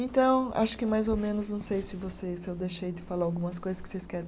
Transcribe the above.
Então, acho que mais ou menos, não sei se vocês, se eu deixei de falar algumas coisas que vocês querem.